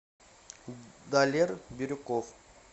далер бирюков